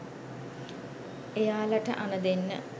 එයාලට අණ දෙන්න